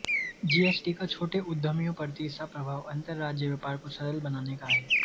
GST का छोटे उद्यमियों पर तीसरा प्रभाव अन्तर्राज्यीय व्यापार को सरल बनाने का है